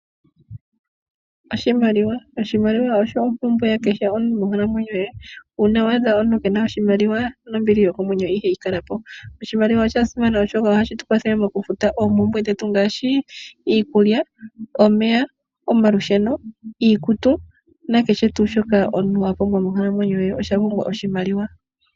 Oshimaliwa, oshimaliwa osho ompumbwe ya kehe omuntu monkalamwenyo ye. Uuna waadha omuntu keena oshimaliwa, nombili yokomwenyo ihayi kala po. Oshimaliwa osha simana oshoka ohashi tukwathele mokufuta oompumbwe dhetu ngaashi: iikulya, omeya, omalusheno, iikutu nakehe tuu shoka omuntu wa pumbwa monkalamwenyo ye osha pumbwa oshimaliwa.